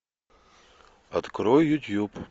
открой ютуб